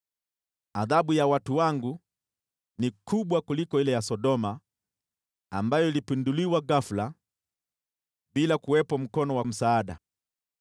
Adhabu ya watu wangu ni kubwa kuliko ile ya Sodoma, ambayo ilipinduliwa ghafula bila kuwepo mkono wa msaada.